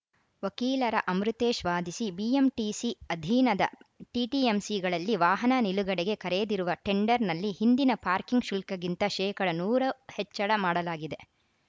ವಕೀಲರ ಅಮೃತೇಶ್‌ ವಾದಿಸಿ ಬಿಎಂಟಿಸಿ ಅಧೀನದ ಟಿಟಿಎಂಸಿಗಳಲ್ಲಿ ವಾಹನ ನಿಲುಗಡೆಗೆ ಕರೆದಿರುವ ಟೆಂಡರ್‌ನಲ್ಲಿ ಹಿಂದಿನ ಪಾರ್ಕಿಂಗ್‌ ಶುಲ್ಕಕ್ಕಿಂತ ಶೇಕಡಾ ನೂರು ಹೆಚ್ಚಳ ಮಾಡಲಾಗಿದೆ